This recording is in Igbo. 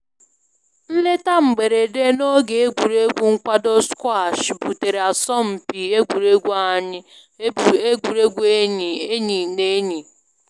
Nleta mberede na oge egwuregwu nkwado squash butere asọmpi egwuregwu enyi enyi na enyi